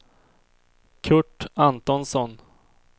Curt Antonsson